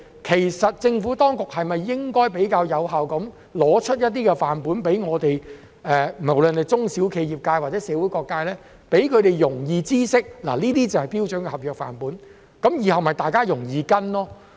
其實政府當局是否應該更有效地提供一些範本給我們使用，無論是中小企、業界或社會各界，讓他們容易知悉這些就是標準的合約範本，以便大家日後容易跟隨。